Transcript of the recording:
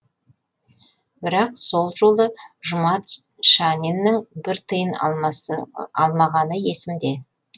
бірақ сол жолы жұмат шаниннің бір тиын алмасы алмағаны есімде